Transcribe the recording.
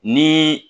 Ni